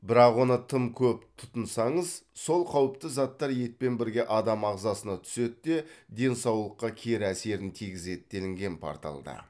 бірақ оны тым көп тұтынсаңыз сол қауіпті заттар етпен бірге адам ағзасына түседі де денсаулыққа кері әсерін тигізеді делінген порталда